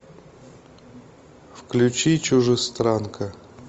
включи чужестранка